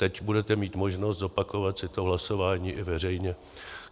Teď budeme mít možnost zopakovat si to hlasování i veřejně.